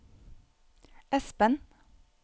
Esben